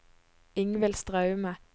Ingvild Straume